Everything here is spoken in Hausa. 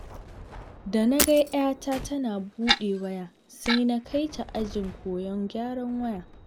Da na ga 'yata tana buɗe waya, sai na kai ta ajin koyon gyaran wayar.